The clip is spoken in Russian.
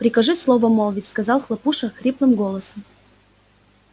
прикажи слово молвить сказал хлопуша хриплым голосом